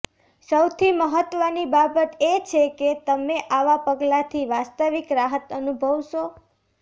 સૌથી મહત્વની બાબત એ છે કે તમે આવા પગલાથી વાસ્તવિક રાહત અનુભવશો